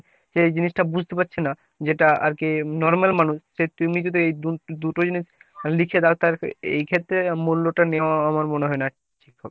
যে এই জিনিসটা বুঝতে পারছিনা। যেটা আরকি normal মানুষ যে তুমি যদি এই দুটো জিনিস লিখে দাও তাহলে এ এই ক্ষেত্রে মূল্য টা নেওয়া আমার মনে হয়না ঠিক হবে।